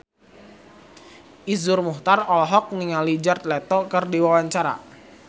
Iszur Muchtar olohok ningali Jared Leto keur diwawancara